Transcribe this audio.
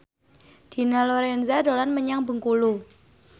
Dina Lorenza dolan menyang Bengkulu